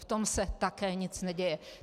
V tom se také nic neděje.